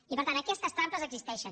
i per tant aquestes trampes existeixen